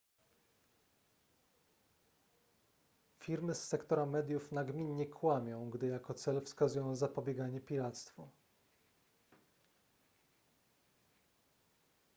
firmy z sektora mediów nagminnie kłamią gdy jako cel wskazują zapobieganie piractwu